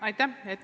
Aitäh!